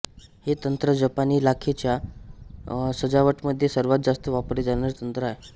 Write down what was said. हे तंत्र जपानी लाखेच्या सजावटमध्ये सर्वात जास्त वापरले जाणारे तंत्र आहे